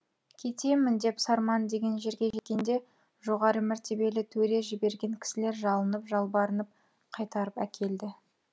кетемін деп сарман деген жерге жеткенде жоғары мәртебелі төре жіберген кісілер жалынып жалбарынып қайтарып әкелді